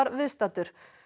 viðstaddur